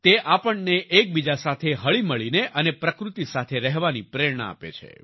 તે આપણને એકબીજા સાથે હળીમળીને અને પ્રકૃતિ સાથે રહેવાની પ્રેરણા આપે છે